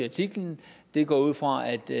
artiklen jeg går ud fra at de